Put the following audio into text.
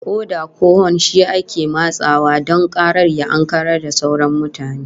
Oda ko hon shi ake matsawa don karar ya ankarar da sauran mutane